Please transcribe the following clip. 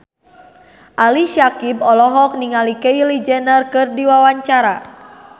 Ali Syakieb olohok ningali Kylie Jenner keur diwawancara